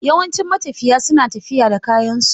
Yawancin matafiya su na tafiya da kayan su.